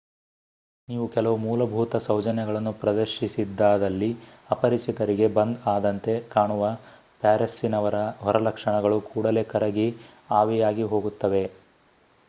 ನೀವು ಕೆಲವು ಮೂಲಭೂತ ಸೌಜನ್ಯಗಳನ್ನು ಪ್ರದರ್ಶಿಸಿದ್ದಾದಲ್ಲಿ ಅಪರಿಚಿತರಿಗೆ ಬಂದ್ ಆದಂತೆ ಕಾಣುವ ಪ್ಯಾರಿಸ್ಸಿನವರ ಹೊರಲಕ್ಷಣಗಳು ಕೂಡಲೇ ಕರಗಿ ಆವಿಯಾಗಿ ಹೋಗುತ್ತವೆ